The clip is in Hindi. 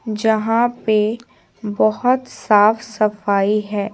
जहां पे बहुत साफ-सफाई है।